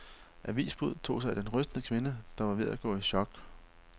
Avisbuddet tog sig af den rystede kvinde, der var ved at gå i chok.